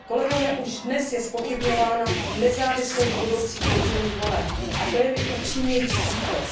Kolegové, už dnes je zpochybňována nezávislost budoucích podzimních voleb, a to je mi upřímně líto.